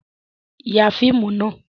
Ya fíìmù nà!